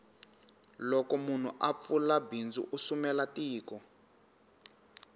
loko munhu a pfula bindzu u sumela tiko